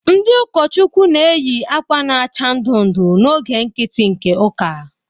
Ndị ụkọchukwu na-eyi akwa na-acha ndụ ndụ n'oge nkiti nke ụka.